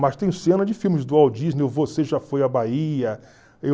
Mas tem cena de filmes do Walt Disney, o Você Já Foi à Bahia